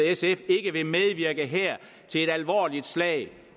sf ikke vil medvirke her til et alvorligt slag